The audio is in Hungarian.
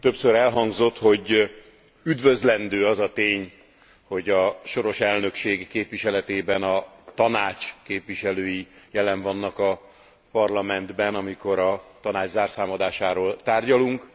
Többször elhangzott, hogy üdvözlendő az a tény, hogy a soros elnökség képviseletében a Tanács képviselői jelen vannak a Parlamentben, amikor a Tanács zárszámadásáról tárgyalunk.